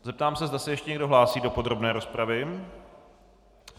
Zeptám se, zda se ještě někdo hlásí do podrobné rozpravy.